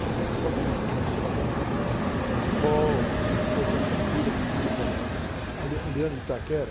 Tem escola que, que nasceu do, do time de futebol, outra que a filha pediu para a... Ah, a Leandro de Itaquera.